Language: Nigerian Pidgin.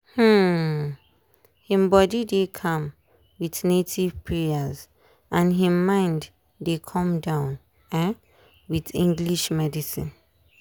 um him body dey calm with native prayers and him mind dey come down um with english medicine.